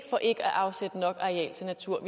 for ikke at afsætte nok arealer til natur